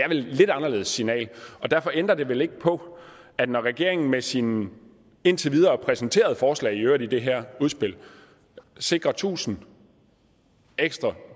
et lidt anderledes signal og derfor ændrer det vel ikke på at når regeringen med sine indtil videre præsenterede forslag i øvrigt i det her udspil sikrer tusind ekstra